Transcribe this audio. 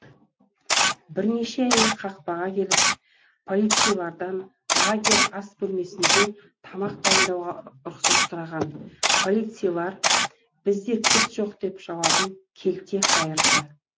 бірнеше әйел қақпаға келіп полицайлардан лагерь ас бөлмесінде тамақ дайындауға рұқсат сұраған полицайлар бізде кілт жоқ деп жауабын келте қайырды